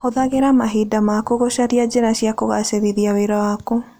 Hũthagĩra mahinda maku gũcaria njĩra cia kũgaacĩrithia wĩra waku.